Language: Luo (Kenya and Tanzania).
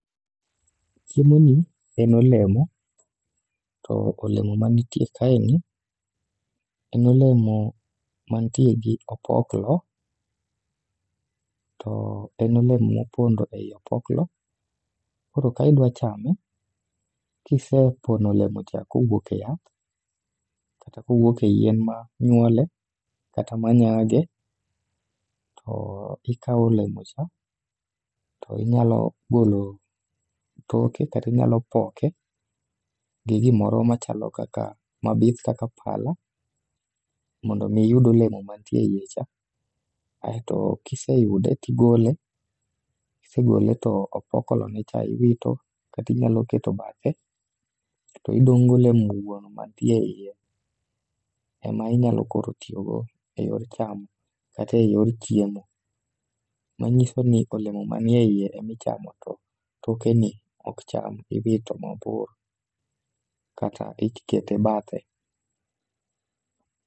Chiemo ni en olemo, to olemo manitie kae ni en olemo mantie gi opoklo. To en olemo mopondo ei opoklo, koro ka idwa chame kise pono olemo cha kowuok e yath, kata kowuok e yien ma nyuole kata ma nyage. To ikawo olemo cha, to inyalo golo toke katinyalo poke gi gimoro machalo kaka mabith kaka pala. Mondo mi iyud olemo mantie eie cha, aeto kiseyude tigole. Kisegole to opokolone cha iwito katinyalo keto bathe, kato idong' golemo wuon mantie e iye. Ema inyalo koro tiyogo e yor chamo kata e yor chiemo. Manyiso ni olemo manie iye emichamo to tokeni ok cham, iwito mabor kata ikete bathe.